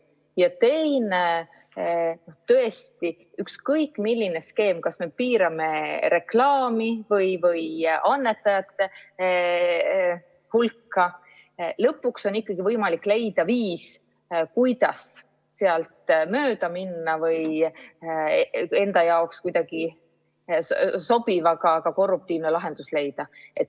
Ja teine: tõesti, ükskõik milline skeem on, kas me piirame reklaami või annetajate hulka, lõpuks on ikkagi võimalik leida viis, kuidas sealt mööda minna või enda jaoks kuidagi sobiv, aga ka korruptiivne lahendus leida.